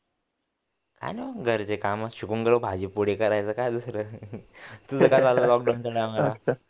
काय नाही बाबा घरी ते कामच शिकून गेलो भाजीपोळी करायचं काय दुसरं तुझं काय चाललंय लॉकडाउनच्या टायमाला